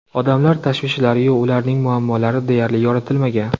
Odamlar tashvishlari-yu, ularning muammolari deyarli yoritilmagan.